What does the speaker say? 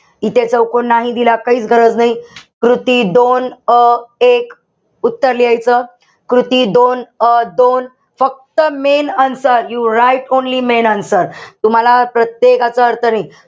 इथे चौकोन नाही दिला, काहीच गरज नाही. कृती दोन, अ एक उत्तर लिहायचं. कृती दोन, अ दोन फक्त main answer write only main answer. तुम्हाला प्रत्येक याचा अर्थ नाही.